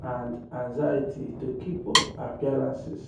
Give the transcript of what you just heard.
and anxiety to keep up appearances.